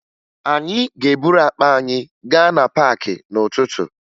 Anyị ga-eburu akpa anyị gaa na paakị n'ụtụtụ